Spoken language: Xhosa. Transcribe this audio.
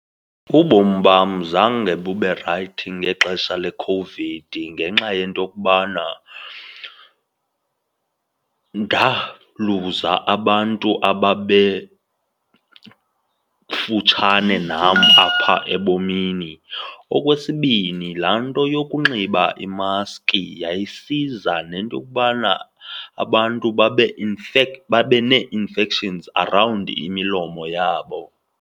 Ubomi bam zange bube rayithi ngexesha leCOVID ngenxa yento yokokubana ndaluza abantu ababekutshane nam apha ebomini. Okwesibini, laa nto yokunxiba imaski yayisiza nento yokubana abantu babe , babe nee-infections arawundi imilomo yabo.